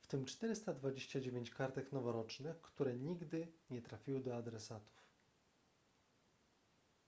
w tym 429 kartek noworocznych które nigdy nie trafiły do adresatów